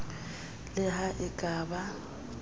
le ha e ka ba